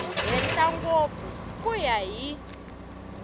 henhla ngopfu ku ya hi